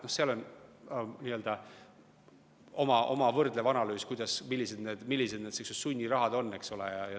Seal taga on nii-öelda oma võrdlev analüüs, millised need sunnirahad on.